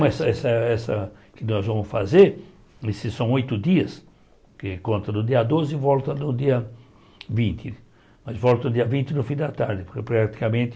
Mas essa essa que nós vamos fazer, esses são oito dias, que conta do dia doze e volta no dia vinte, mas volta no dia vinte no fim da tarde, porque praticamente...